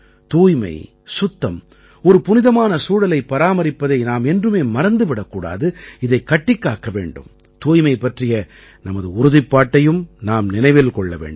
தூய்மை சுத்தம் ஒரு புனிதமான சூழலை பராமரிப்பதை நாம் என்றுமே மறந்து விடக் கூடாது இதைக் கட்டிக் காக்க வேண்டும் தூய்மை பற்றிய நமது உறுதிப்பாட்டையும் நாம் நினைவில் கொள்ள வேண்டும்